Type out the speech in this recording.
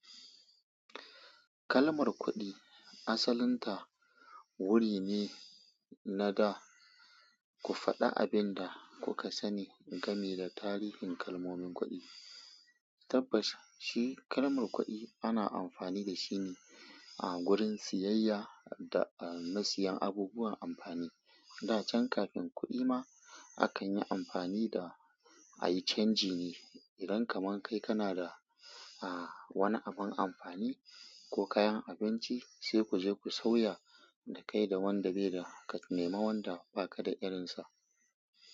Kalmar kuɗi asalinta wuri ne na da ku faɗa abin da kuka sani game da tarihin kalmomin kuɗi. Tabbas shi kalmar kuɗi ana amfani da shi ne a gurin siyayya da a nasiyan abubuwan amfani. Da can kafin kuɗi ma akan yi amfani da a yi canji ne. Idan kaman kai kana da a wani abun amfani ko kayan abinci sai ku je ku sauya da kai da wanda bai da ka nema wanda baka da irinsa.